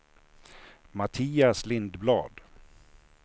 Mattias Lindblad